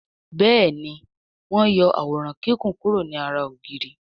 Béèni wón yó Àwòrán Kíkún kuro ní àrà ògiri.